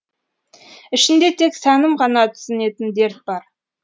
ішінде тек сәнім ғана түсінетін дерт бар